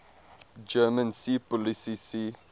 german seepolizei sea